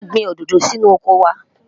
a gbìn òdodo sí inú ọkọ wa